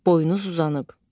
Boyunuz uzanıb.